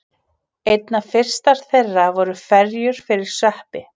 Einna fyrstar þeirra voru ferjur fyrir sveppi.